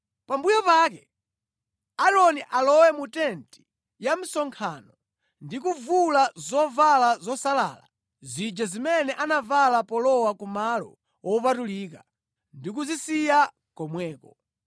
“Pambuyo pake Aaroni alowe mu tenti ya msonkhano ndi kuvula zovala zosalala zija zimene anavala polowa ku Malo Wopatulika ndi kuzisiya komweko.